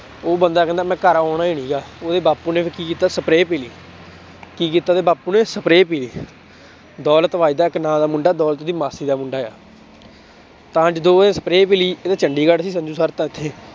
ਉਹ ਬੰਦਾ ਕਹਿੰਦਾ ਮੈਂ ਘਰ ਆਉਣਾ ਹੀ ਨੀ ਗਾ ਉਹਦੇ ਬਾਪੂ ਨੇ ਫਿਰ ਕੀ ਕੀਤਾ spray ਪੀ ਲਈ ਕੀ ਕੀਤਾ ਉਹਦੇ ਬਾਪੂ ਨੇ spray ਪੀ ਲਈ ਦੌਲਤ ਵੱਜਦਾ ਇੱਕ ਨਾਂ ਦਾ ਮੁੰਡਾ ਦੌਲਤ ਦੀ ਮਾਸੀ ਦਾ ਮੁੰਡਾ ਆ ਤਾਂ ਜਦੋਂ ਉਹਨੇ spray ਪੀ ਲਈ ਇਹ ਤਾਂ ਚੰਡੀਗੜ੍ਹ ਸੀ ਸੰਜੂ ਸਰ ਤਾਂ ਇੱਥੇ।